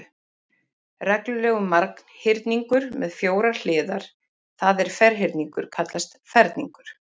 Reglulegur marghyrningur með fjórar hliðar, það er ferhyrningur, kallast ferningur.